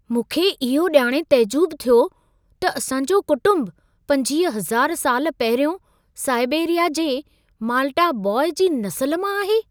मूंखे इहो ॼाणे तइजुब थियो त असांजो कुटुंब 25000 साल पहिरियों साइबेरिया जे माल्टा बॉय जी नसल मां आहे।